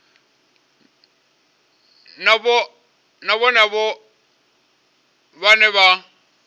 na vhohe avho vhane vha